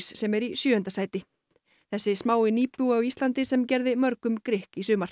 sem er í sjöunda sæti þessi smái nýbúi á Íslandi sem gerði mörgum grikk í sumar